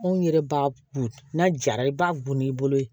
Anw yɛrɛ b'a bun n'a jara i b'a gun i bolo yen